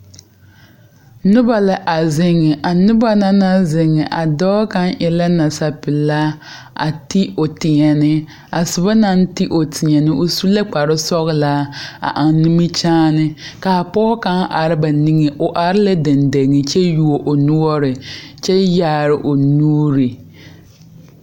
Noba la a ziŋ a noba naŋ ziŋ a dɔɔ kaŋ e la nasapelaa a ti o teɛne a soba naŋ ti o teɛne o su la kparesɔglaa a eŋ nimikyaane ka a pɔge kaŋ are ba nigeŋ o are la deŋdeŋe kyɛ yuo o noɔre kyɛ yaare o nuuri.